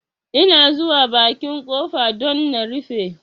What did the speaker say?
Ina zuwa bakin ƙofa don na rufe